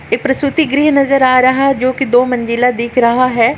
ये प्रसूतिगृह नज़र आ रहा है जो की दो मंज़िला दिख रहा है।